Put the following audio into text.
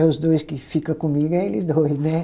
É os dois que fica comigo, é eles dois, né?